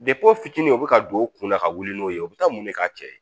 o fitininw bɛ ka don u kunna ka wuli n'o ye u bɛ taa mun de k'a cɛ ye